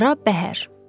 Qara bəhər.